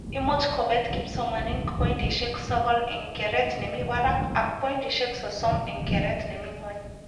Imuch kobet kipsomanink poindishek sokol eng keret nemi barak ak poindishek sosom eng keret nemi nywony